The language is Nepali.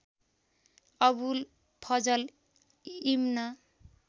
अबुल फजल इब्न